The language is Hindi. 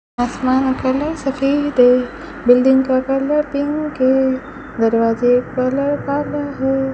आसमान का कलर सफेद है बिल्डिंग का कलर पिंक है दरवाजे कलर काला है।